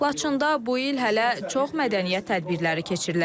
Laçında bu il hələ çox mədəniyyət tədbirləri keçiriləcək.